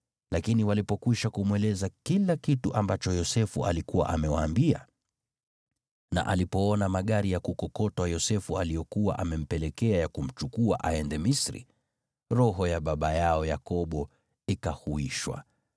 Lakini walipokwisha kumweleza kila kitu ambacho Yosefu alikuwa amewaambia, na alipoona magari ya kukokotwa Yosefu aliyokuwa amempelekea ya kumchukua aende Misri, roho ya baba yao Yakobo ikahuishwa.